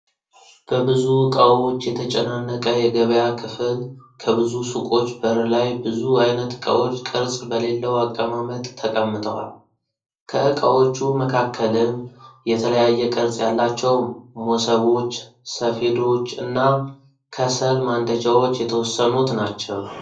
በብዙ እቃዎች የተጨናነቀ የገበያ ክፍል ከብዙ ሱቆች በር ላይ ብዙ አይነት እቃዎች ቅርጽ በሌለው አቀማመጥ ተቀምጠዋል። ከእቃዎቹ መካከልም የተለያየ ቅርጽ ያላቸው ሞሰቦች፣ ሰፌዶች እና ከሰል ማንደጃዎች የተወሰኑት ናቸው።